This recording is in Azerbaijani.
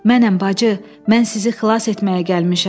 Mənəm bacı, mən sizi xilas etməyə gəlmişəm.